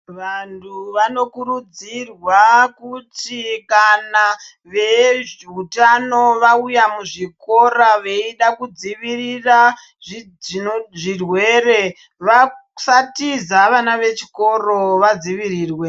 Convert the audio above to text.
Vanhu vanokurudzirwa kuti kana vezveutano vauya muzvikora veida kudzivirira zvino zvirwere vasatiza vana vechikoro vadzivirirwe.